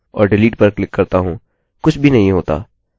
जब मैं emily headen पर क्लिक करता हूँ और delete पर क्लिक करता हूँ कुछ भी नहीं होता